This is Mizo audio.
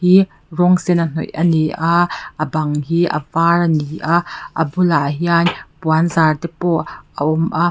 i rawng sen a hnawih ani a a bang hi a var ani a a bulah hian puan zar te pawh a awm a.